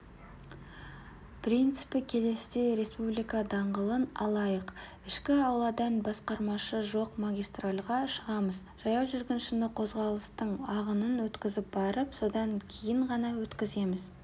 принципі келесідей республика даңғылын алайық ішкі ауладан бағдаршамы жоқ магистральға шығамыз жаяу жүргіншіні қозғалыстың ағынын өткізіп барып содан кейін ғана өтеміз